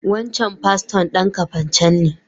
Wancan paston dan Kafacan ne.